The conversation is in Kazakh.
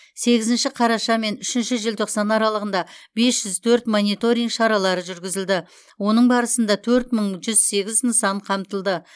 сегізінші қараша мен үшінші желтоқсан аралығында бес жүз төрт мониторинг шаралары жүргізілді оның барасында төрт мың бір жүз сегіз нысан қамтылды